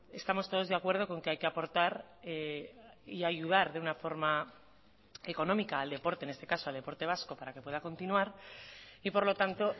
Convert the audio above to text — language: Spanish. estamos todos de acuerdo con que hay que aportar y ayudar de una forma económica al deporte en este caso al deporte vasco para que pueda continuar y por lo tanto